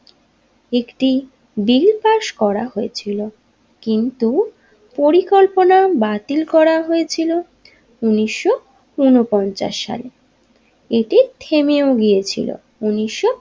একটি bill pass করা হয়েছিল কিন্তু পরিকল্পনা বাতিল করা হয়েছিল উনিশশো উনপঞ্চাশ সালে এটি থেমেও গিয়েছিলো উনিশশো।